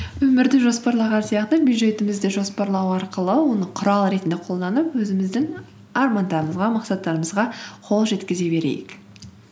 өмірді жоспарлаған сияқты бюджетімізді жоспарлау арқылы оны құрал ретінде қолданып өзіміздің армандарымызға мақсаттарымызға қол жеткізе берейік